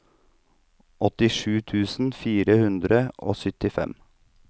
åttisju tusen fire hundre og syttifem